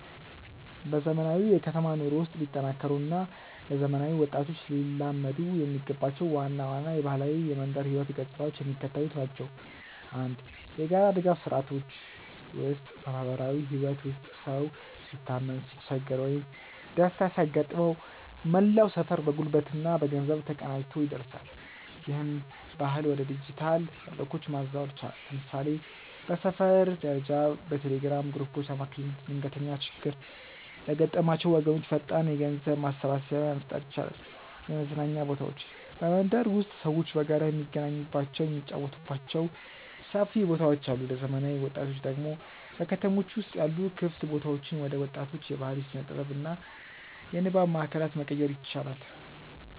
በዘመናዊው የከተማ ኑሮ ውስጥ ሊጠናከሩ እና ለዘመናዊ ወጣቶች ሊላመዱ የሚገባቸው ዋና ዋና የባህላዊ የመንደር ህይወት ገጽታዎች የሚከተሉት ናቸው፦ 1. የጋራ ድጋፍ ስርዓቶች ውስጥ በማህበራዊ ህይወት ውስጥ ሰው ሲታመም፣ ሲቸገር ወይም ደስታ ሲያጋጥመው መላው ሰፈር በጉልበትና በገንዘብ ተቀናጅቶ ይደርሳል። ይህንን ባህል ወደ ዲጂታል መድረኮች ማዛወር ይቻላል። ለምሳሌ በሰፈር ደረጃ በቴሌግራም ግሩፖች አማካኝነት ድንገተኛ ችግር ለገጠማቸው ወገኖች ፈጣን የገንዘብ ማሰባሰቢያ መፍጠር ይቻላል። 2. የመዝናኛ ቦታዎች በመንደር ውስጥ ሰዎች በጋራ የሚገናኙባቸው፣ የሚጫወቱባቸው ሰፊ ቦታዎች አሉ። ለዘመናዊ ወጣቶች ደግሞ በከተሞች ውስጥ ያሉ ክፍት ቦታዎችን ወደ ወጣቶች የባህል፣ የስነ-ጥበብ እና የንባብ ማእከላት መቀየር ይቻላል።